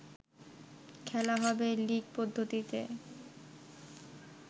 খেলা হবে লিগ পদ্ধতিতে